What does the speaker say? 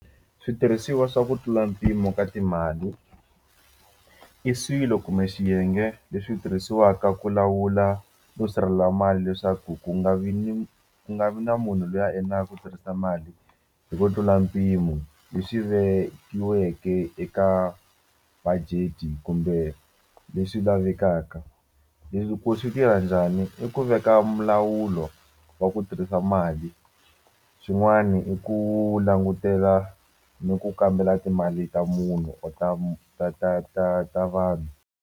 Switirhisiwa swa ku tlula mpimo ka timali i swilo kumbe xiyenge leswi tirhisiwaka ku lawula no sirhelela mali leswaku ku nga vi ni ku nga vi na munhu loyi a endlaka ku tirhisa mali hi ku tlula mpimo leswi vekiweke eka budget kumbe leswi lavekaka leswi ku swi tirha njhani i ku veka wa ku tirhisa mali swin'wani i ku langutela ni ku kambela timali ta munhu or ta ta ta ta ta vanhu.